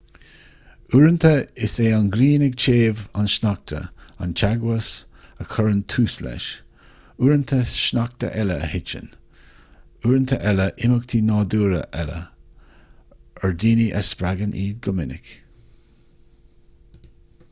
uaireanta is é an ghrian ag téamh an sneachta an teagmhas a chuireann tús leis uaireanta sneachta eile a thiteann uaireanta eile imeachtaí nádúrtha eile ar daoine a spreagann iad go minic